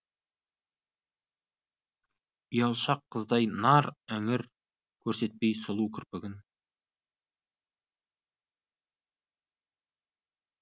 ұялшақ қыздай нар іңір көрсетпей сұлу кірпігін